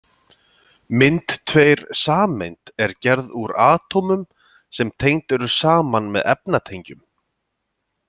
Mynd tveir Sameind er gerð úr atómum sem tengd eru saman með efnatengjum.